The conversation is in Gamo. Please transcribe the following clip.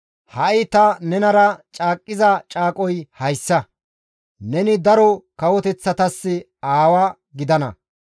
«Ha7i ta nenara caaqqiza caaqoy hayssa; neni daro kawoteththatas aawa gidana.